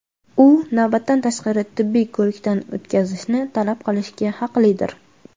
u navbatdan tashqari tibbiy ko‘rikdan o‘tkazishni talab qilishga haqlidir.